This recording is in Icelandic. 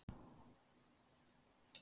Hún er forsætisráðherra Íslands.